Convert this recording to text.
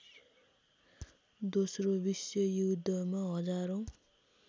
दोस्रो विश्वयुद्धमा हजारौँ